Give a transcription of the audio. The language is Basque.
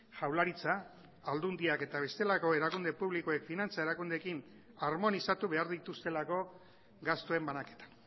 jaurlaritza aldundiak eta bestelako erakunde publikoek finantzia erakundeekin harmonizatu behar dituztelako gastuen banaketa